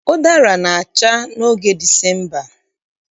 Ụdara na-acha n'oge Disemba